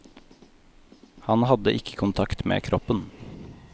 Han hadde ikke kontakt med kroppen.